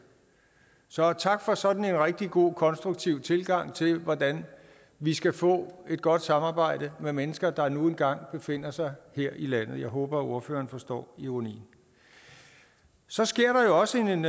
så tak for sådan en rigtig god konstruktiv tilgang til hvordan vi skal få et godt samarbejde med mennesker der nu engang befinder sig her i landet jeg håber at ordføreren forstår ironien så sker der også en